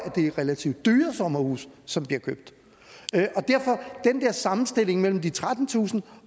det er relativt dyre sommerhuse som bliver købt og sammenstilling mellem de trettentusind